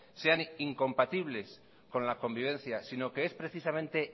sean incompatibles con la convivencia sino que es precisamente